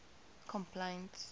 complaints